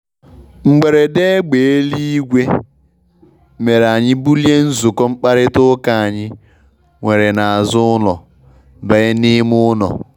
Mgberede égbé éluigwe mere anyị bulie nzukọ mkpakarita ụka anyị were n' azụ ụlọ banye n' ime ụlo.